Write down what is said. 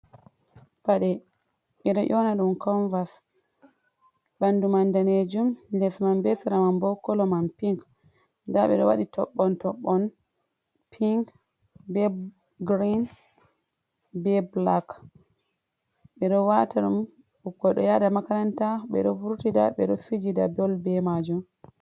Paɗe ɓeɗo ƴona dum kanvas, Ɓandu man Danejum les man be seraman bo kolo man pink, nda ɓeɗo wadi toɓɓon toɓɓon pink be grin be bulak. Ɓeɗo wata dum ɓeɗo yada makaranta ɓe ɗo vurtida be do fijida bol be majum.